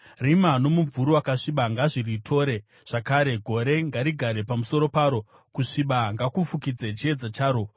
Rima nomumvuri wakasviba ngazviritore zvakare; gore ngarigare pamusoro paro; kusviba ngakufukidze chiedza charo.